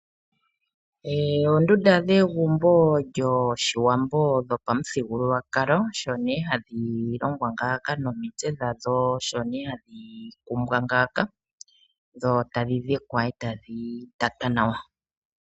Oondundu dhegumbo lyoshiwambo lyopamuthigululwakalo, osho nee hadhi longwa ngaaka, nomitse dhadho osho ohadhi kumbwa ngaaka, dho tadhi dhikwa ndele tadhi tatwa nawa.